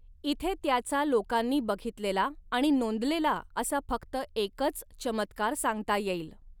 इथे त्याचा लोकांनी बघितलेला आणि नोंदलेला असा फक्त एकच चमत्कार सांगता येईल.